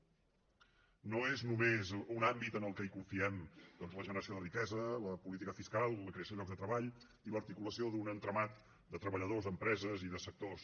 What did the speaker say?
no és només un àmbit en què confiem la generació de riquesa la política fiscal la creació de llocs de treball i l’articulació d’un entramat de treballadors empreses i sectors